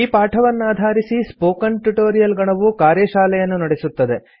ಈ ಪಾಠವನ್ನಾಧಾರಿಸಿ spoken tutorial ಗಣವು ಕಾರ್ಯಶಾಲೆಯನ್ನು ನಡೆಸುತ್ತದೆ